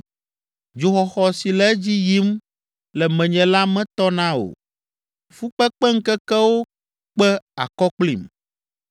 Dzoxɔxɔ si le edzi yim le menye la metɔna o, fukpekpeŋkekewo kpe akɔ kplim.